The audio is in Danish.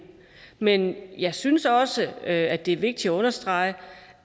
men jeg synes også at det er vigtigt at understrege